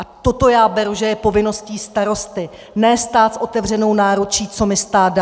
A toto já beru, že je povinností starosty, ne stát s otevřenou náručí, co mi stát dá.